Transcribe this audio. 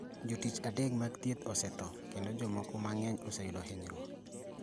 Jotich adek mag thieth osetho kendo jomoko mang’eny oseyudo hinyruok